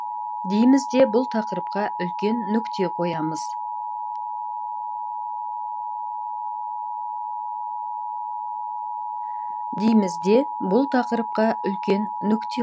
дейміз де бұл тақырыпқа үлкен нүкте қоямыз